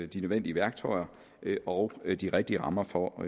de nødvendige værktøjer og de rigtige rammer for